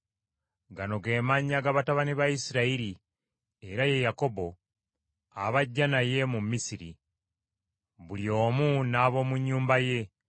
Gano ge mannya ga batabani ba Isirayiri, era ye Yakobo, abajja naye mu Misiri; buli omu n’ab’omu nnyumba ye: